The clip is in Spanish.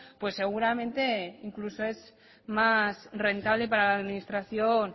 pues seguramente incluso es más rentable para la administración